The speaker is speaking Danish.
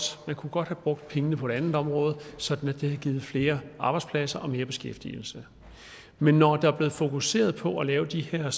man kunne godt have brugt pengene på et andet område sådan at det havde givet flere arbejdspladser og mere beskæftigelse men når der er blevet fokuseret på at lave de her